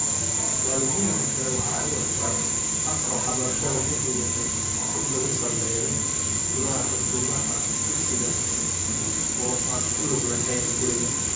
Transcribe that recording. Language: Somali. Waalidiinta kale waxay u arkaan habka waxbarashada inuu yahay mid lagu sameeyo gudaha xuduudaha dugsiga oo aan ku lug lahayn guriga.